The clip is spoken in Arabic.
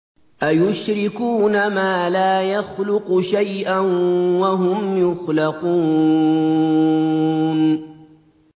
أَيُشْرِكُونَ مَا لَا يَخْلُقُ شَيْئًا وَهُمْ يُخْلَقُونَ